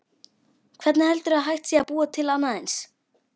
Hvernig heldurðu að hægt sé að búa til annað eins?